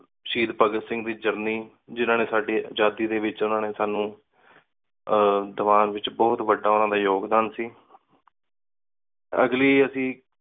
ਸ਼ਹੀਦ ਭਗਤ ਸਿੰਘ ਦੀ journey ਜਿੰਨਾ ਨੇ ਸਾਡੀ ਆਜਾਤੀ ਦੇ ਵਿਚ ਓਹਨਾ ਨੀ ਸਾਨੂ ਅਰ ਦਿਵਾਂਨ ਵਿਚ ਬੋਹਤ ਵਾਦਾ ਓਹਨਾ ਦਾ ਯੋਗਦਾਨ ਸੀ। ਅਗਲੀ ਅੱਸੀ